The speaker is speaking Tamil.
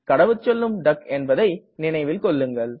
கடவுச்சொல்லும் டக் என்பதை நினைவில்கொள்ளுங்கள்